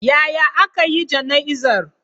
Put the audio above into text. Yaya aka yi jana'izar?